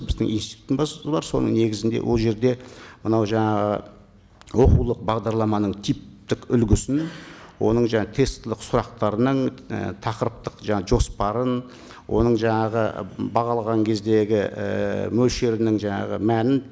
біздің институттың базасы бар соның негізінде ол жерде мынау жаңағы оқулық бағдарламаның типтік үлгісін оның жаңағы тестілік сұрақтарын тақырыптық жаңа жоспарын оның жаңағы бағалаған кездегі ііі мөлшерінің жаңағы мәнін